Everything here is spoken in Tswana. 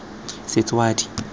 setswadi